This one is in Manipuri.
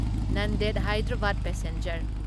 ꯅꯟꯗꯦꯗ ꯍꯥꯢꯗꯔꯥꯕꯥꯗ ꯄꯦꯁꯦꯟꯖꯔ